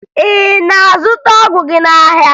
Ị na-azụta ọgwụ gị n'ahịa?